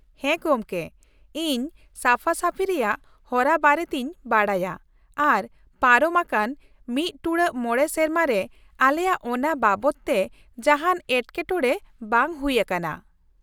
ᱦᱮᱸ ᱜᱚᱝᱠᱮ, ᱤᱧ ᱥᱟᱯᱷᱟ ᱥᱟᱹᱯᱷᱤ ᱨᱮᱭᱟᱜ ᱦᱚᱨᱟ ᱵᱟᱨᱮᱛᱤᱧ ᱵᱟᱰᱟᱭᱟ ᱟᱨ ᱯᱟᱨᱚᱢ ᱟᱠᱟᱱ ᱑ᱹ᱕ ᱥᱮᱨᱢᱟ ᱨᱮ ᱟᱞᱮᱭᱟᱜ ᱚᱱᱟ ᱵᱟᱵᱚᱛ ᱛᱮ ᱡᱟᱦᱟᱱ ᱮᱴᱠᱮᱴᱚᱬᱮ ᱵᱟᱝ ᱦᱩᱭ ᱟᱠᱟᱱᱟ ᱾